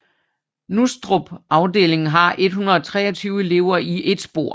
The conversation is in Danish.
Nustrup afdeling har 123 elever i ét spor